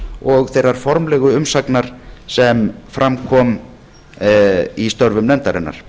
og þeirrar formlegu umsagnar sem fram kom í störfum nefndarinnar